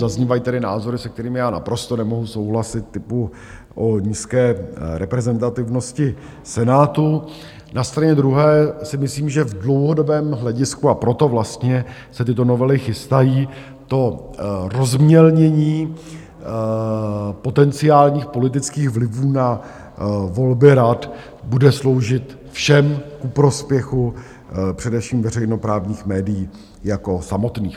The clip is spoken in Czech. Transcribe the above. Zaznívají tady názory, se kterými já naprosto nemohu souhlasit, typu o nízké reprezentativnosti Senátu, na straně druhé si myslím, že v dlouhodobém hledisku, a proto vlastně se tyto novely chystají, to rozmělnění potenciálních politických vlivů na volby rad bude sloužit všem ku prospěchu, především veřejnoprávních médií jako samotných.